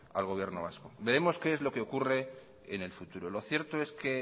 al gobierno vasco veremos qué es lo que ocurre en el futuro lo cierto es que